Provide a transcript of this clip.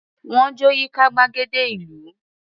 Wọ́n jó yíká gbàgede ìlú.